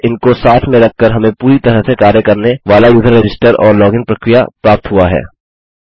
अतः इनको साथ में रखकर हमें पूरी तरह से कार्य करने वाला यूज़र रजिस्टर और लॉगिन प्रक्रिया प्राप्त हुआ है